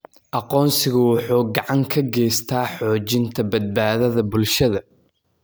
Aqoonsigu wuxuu gacan ka geystaa xoojinta badbaadada bulshada.